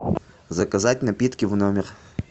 заказать напитки в номер